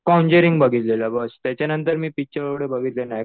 Conjuring बघितलेलं बघ त्याच्यानंतर मी पिक्चर एवढे बघितले नाही